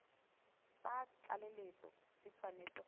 tsa tlaleletso di tshwanetse go